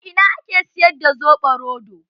A ina ake siyar da soɓo roɗo?